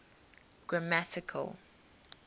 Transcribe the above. grammatical